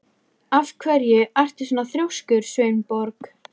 Af hverju ertu svona þrjóskur, Sveinborg?